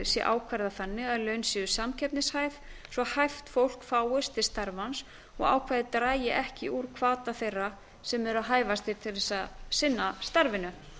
sé ákvarðað þannig að laun séu samkeppnishæf svo að hæft fólk fáist til starfans og ákvæðið dragi ekki úr hvata þeirra sem eru hæfastir til þess að sinna starfinu